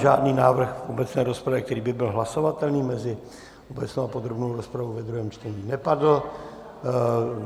Žádný návrh v obecné rozpravě, který by byl hlasovatelný mezi obecnou a podrobnou rozpravou ve druhém čtení, nepadl.